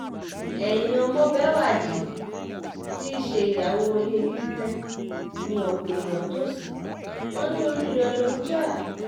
ẹ̀yin ọmọbéwájì tí í ṣe ìyàwó ilé libre ni ọ̀pọ̀ èèyàn tó ṣí wọn ní orí rẹ̀ ló ń jà